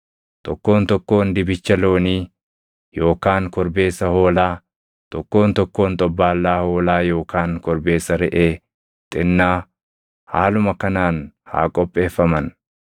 Tokkoon tokkoon dibicha loonii yookaan korbeessa hoolaa, tokkoon tokkoon xobbaallaa hoolaa yookaan korbeessa reʼee xinnaa haaluma kanaan haa qopheeffaman.